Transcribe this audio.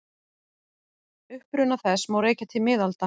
Uppruna þess má rekja til miðalda.